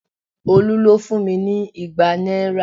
Olu ló fún mi ní igba náírà